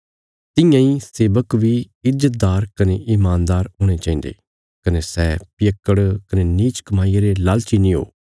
तियां इ सेवक बी ईज्जतदार कने ईमानदार हुणे चाहिन्दे कने सै पियक्कड़ कने नीच कमाईया रे लालची नीं हो